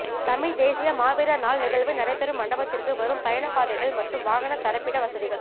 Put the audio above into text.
தமிழ்த் தேசிய மாவீரர் நாள் நிகழ்வு நடைபெறும் மண்டபத்திற்கு வரும் பயணப் பாதைகள் மற்றும் வாகனத் தரிப்பிட வசதிகள்